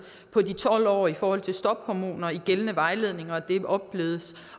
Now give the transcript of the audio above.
på tolv år i forhold til stophormoner i gældende vejledninger så den opblødes